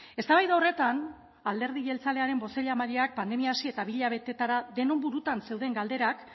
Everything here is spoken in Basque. eztabaida horretan alderdi jeltzalearen bozeramaileak pandemia hasi eta bi hilabetetara denon burutan zeuden galderak